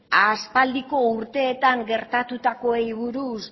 aspaldiko urteetan gertatutakoari buruz